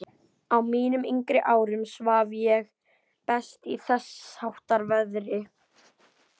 Á mínum yngri árum svaf ég best í þessháttar veðri.